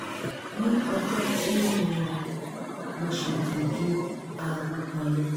ní ọjọ́ tí ó nira mo ṣètò ju aago kan lọ